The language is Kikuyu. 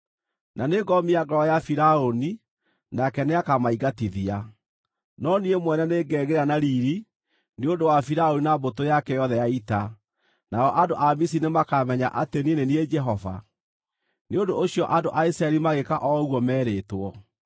Na nĩngomia ngoro ya Firaũni, nake nĩakamaingatithia. No niĩ mwene nĩngegĩĩra na riiri nĩ ũndũ wa Firaũni na mbũtũ yake yothe ya ita, nao andũ a Misiri nĩmakamenya atĩ niĩ nĩ niĩ Jehova.” Nĩ ũndũ ũcio andũ a Isiraeli magĩĩka o ũguo merĩtwo.